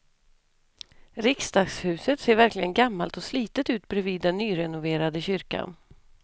Riksdagshuset ser verkligen gammalt och slitet ut bredvid den nyrenoverade kyrkan.